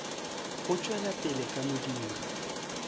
o tšwela pele ka modiro